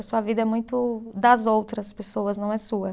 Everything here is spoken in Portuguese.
A sua vida é muito das outras pessoas, não é sua.